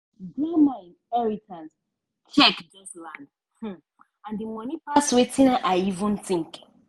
small business owners dey always depend on loan from bank to from bank to manage dia stock when season change.